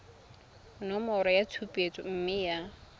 nomoro ya tshupetso mme ya